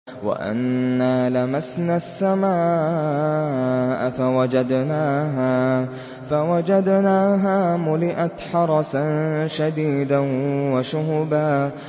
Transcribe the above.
وَأَنَّا لَمَسْنَا السَّمَاءَ فَوَجَدْنَاهَا مُلِئَتْ حَرَسًا شَدِيدًا وَشُهُبًا